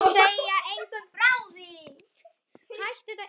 Og segja engum frá því.